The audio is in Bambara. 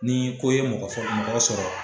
Ni ko ye mɔgɔ fɔlɔ mɔgɔ sɔrɔ.